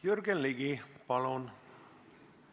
Jürgen Ligi, palun!